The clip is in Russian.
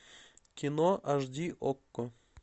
кино аш ди окко